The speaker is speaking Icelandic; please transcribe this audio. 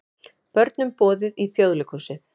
Börnum boðið í Þjóðleikhúsið